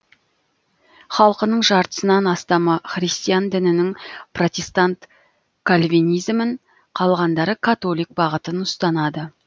халқының жартысынан астамы христиан дінінің протестант кальвинизмін қалғандары католик бағытын ұстанады